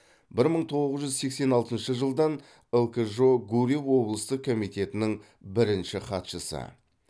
бір мың тоғыз жүз сексен алтыншы жылдан лкжо гурьев облыстық комитетінің бірінші хатшысы